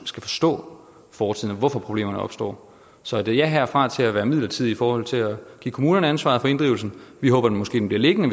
skal forstå fortiden og hvorfor problemerne opstår så et ja herfra til at være midlertidige i forhold til at give kommunerne ansvaret for inddrivelsen vi håber måske den bliver liggende